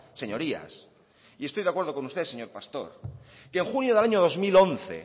señorías y estoy de acuerdo con usted señor pastor que en junio del año dos mil once